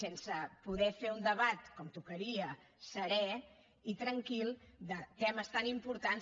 sense poder fer un debat com tocaria serè i tranquil de temes tan importants